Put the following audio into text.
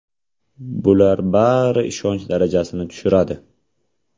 Bular bari ishonch darajasini tushiradi.